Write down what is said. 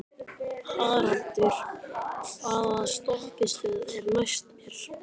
Haraldur, hvaða stoppistöð er næst mér?